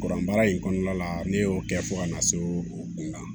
Kuran baara in kɔnɔna la ne y'o kɛ fo ka na se o kunna